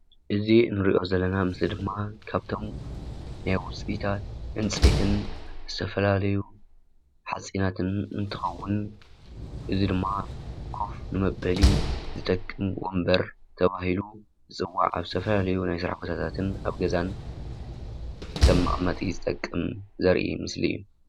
እዚ እንርኦ ዘለና ምስሊ ደማ ካብቶም ናይ ውፂአታት ዕንፀይቲ ዝተፈላለዩ ሓፂናትን እንትኸውን እዚ ድማ ኮፍ ንመበሊ ዝጠቅም ወንበር ተባሂሉ ዝፅዋዕ ኣብ ዝተፈላለዩ ናይ ስራሕ ቦታታትን ኣብ ገዛን ከም መቐመጢ ዝጠቅም ዝራኢ ምስሊ እዩ።